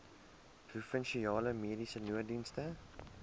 provinsiale mediese nooddienste